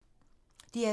DR2